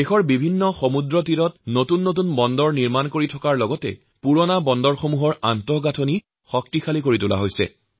ভাৰতৰ বিভিন্ন সমুদ্ৰতীৰত নতুন নতুন বন্দৰ গঢ় দিয়া লগতে পুৰণি বন্দৰসমূহৰ শক্তিশালীকৰণৰ কামো কৰি থকা হৈছে